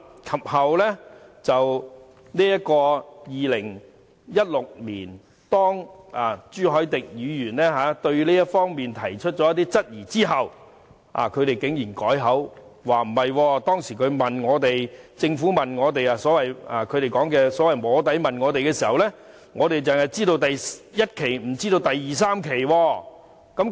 及後在2016年，當朱凱廸議員對這方面提出一些質疑後，他們竟然改口，說政府當時所謂"摸底"問他們時，只提及第1期計劃，他們並不知道有第2期和第3期計劃。